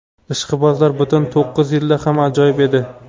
Ishqibozlar butun to‘qqiz yilda ham ajoyib edi.